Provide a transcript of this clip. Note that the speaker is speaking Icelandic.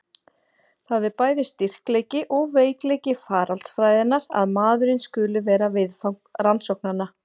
Það er bæði styrkleiki og veikleiki faraldsfræðinnar að maðurinn skuli vera viðfang rannsóknanna.